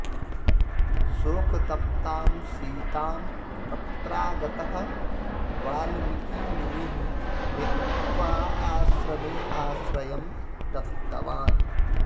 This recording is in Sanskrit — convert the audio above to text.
शोकतप्तां सीतां तत्रागतः वाल्मीकिमुनिः नीत्वा आश्रमे आश्रयं दत्तवान्